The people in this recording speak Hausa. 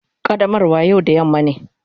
Qaddamarwa yau da yamma ne.